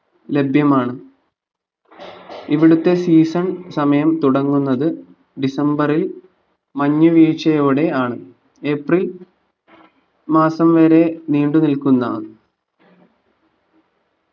ലഭ്യമാണ് ഇവിടുത്തെ season സമയം തുടങ്ങുന്നത് ഡിസംബറിൽ മഞ്ഞുവീഴ്ചയോടെ ആണ് ഏപ്രിൽ മാസം വരെ നീണ്ടു നിൽക്കുന്ന